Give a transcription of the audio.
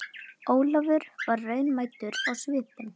Ólafur og varð raunamæddur á svipinn.